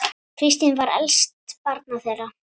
Kristín var elst barna þeirra.